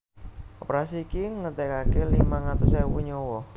Operasi iki ngentèkaké limang atus ewu nyawa